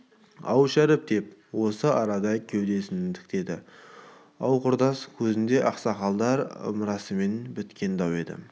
ау шәріп деп осы арада кеудесін тіктеді ау құрдас кезінде ақсақалдар ымырасымен біткен дау еді